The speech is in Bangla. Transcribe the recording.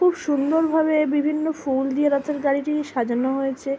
খুব সুন্দর ভাবে বিভিন্ন ফুল দিয়ে রাতের গাড়িটি সাজানো হয়েছে ।